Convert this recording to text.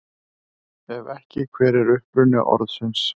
Ef ekki, hver er uppruni orðsins?